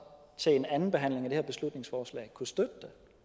til en anden behandling af det her beslutningsforslag kunne støtte